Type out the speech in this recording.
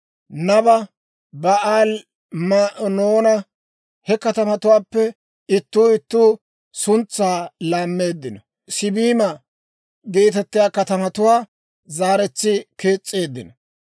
Naba, Ba'aali-Ma'oonanne (He katamatuwaappe ittuu ittuu suntsaa laammeeddino) Siibima geetettiyaa katamatuwaa zaaretsi kees's'eeddino.